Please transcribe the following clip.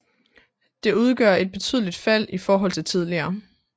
Det udgør et betydeligt fald i forhold til tidligere